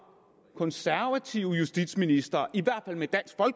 konservative justitsministre